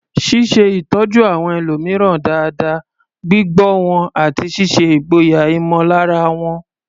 Ṣíṣe ìtọ́jú àwọn ẹlòmíràn dáadáa, gbígbọ́ wọn, àti ṣíṣe ìgboyà ìmọ̀lára wọn.